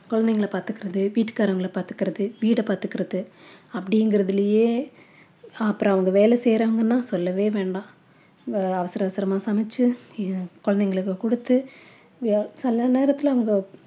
குழந்தைகளை பார்த்துக்கிறது வீட்டுக்காரங்களை பார்த்துக்கிறது வீடை பார்த்துக்கிறது அப்படிங்கறதுலயே அப்புறம் அவங்க வேலை செய்றாங்கன்னா சொல்லவே வேண்டா அவங்க அவசர அவசரமா சமைச்சு குழந்தைகளுக்கு குடுத்து அஹ் சில நேரத்தில அவங்க